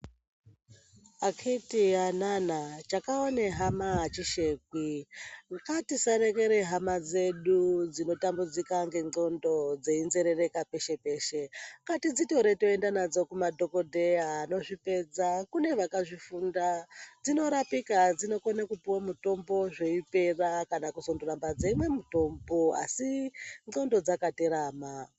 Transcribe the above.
Akiti anana chakaone hama achishekwi ngatisarekere hama dzedu dzinotambudzika ngendxondo dzeinzerereka peshe peshe ngatidzitore toenda nadzo kumadhokodheya anozvipedza kune vakazvifunda dzinorapika dzinokone kupuwe mitombo zveipera kana kuzondoramba dzeimwe mutombo asi ndxondo dzakaterama.